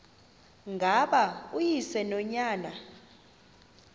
ngaba uyise nonyana